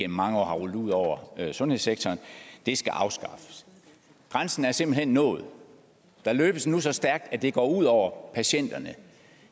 mange år har rullet ud over sundhedssektoren skal afskaffes grænsen er simpelt hen nået der løbes nu så stærkt at det går ud over patienterne